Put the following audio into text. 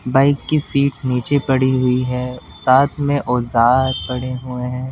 Bike की seat नीचे पड़ी हुई है साथ में औजार पड़े हुए हैं।